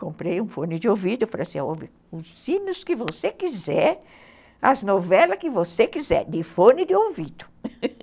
Comprei um fone de ouvido e falei assim, ouve, os sinos que você quiser, as novelas que você quiser, de fone de ouvido.